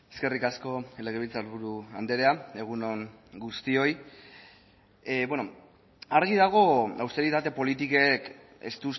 eskerrik asko legebiltzarburu andrea egun on guztioi bueno argi dago austeritate politikek ez